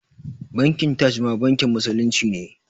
Bankin Taj ma bankin musulunci ne